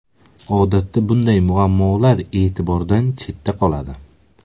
Odatda bunday muammolar e’tibordan chetda qoladi.